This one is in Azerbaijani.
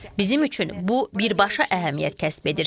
Bizim üçün bu birbaşa əhəmiyyət kəsb edir.